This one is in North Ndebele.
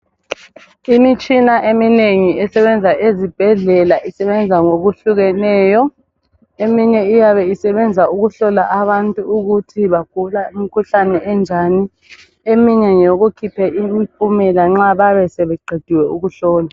Imitshina eminengi esebenza ezibhedlela isebenza ngokuhlukeneyo. Eminye iyabe isebenza ukuhlola abantu ukuthi bagula imikhuhlane enjani, eminye ngeyokukhipha imphumela nxa beyabe sebeqedile ukuhlolwa.